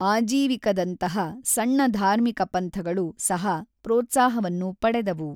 ಆಜೀವಿಕದಂತಹ ಸಣ್ಣ ಧಾರ್ಮಿಕ ಪಂಥಗಳು ಸಹ ಪ್ರೋತ್ಸಾಹವನ್ನು ಪಡೆದವು.